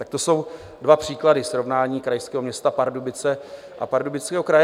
Tak to jsou dva příklady srovnání krajského města Pardubice a Pardubického kraje.